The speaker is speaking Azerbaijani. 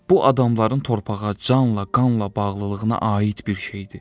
Bu adamların torpağa canla, qanla bağlılığına aid bir şeydir.